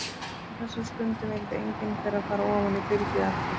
Á þessari stundu vildi engin þeirra fara ofan í byrgið aftur.